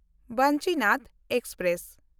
Vanchinad express